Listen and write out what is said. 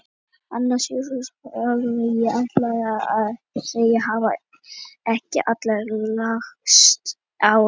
Anna Sigríður Ólafsdóttir: Ég ætlaði að segja: Hafa ekki allir lagst á eitt?